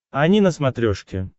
ани на смотрешке